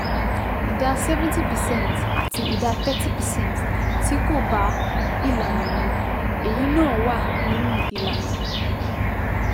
ìdá seventy percent àti ìdá thirty percent tí kò bá ìlànà mu - èyí náà wà nínú ìlànà